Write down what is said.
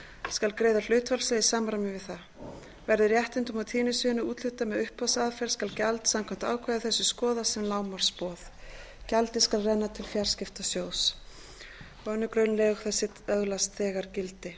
skal greiða hlutfallslega í samræmi við það verði réttindum á tíðnisviðinu úthlutað með uppboðsaðferð skal gjald samkvæmt ákvæði þessu skoðast sem lágmarksboð gjaldið skal renna til fjarskiptasjóðs annarri grein lög þessi öðlast þegar gildi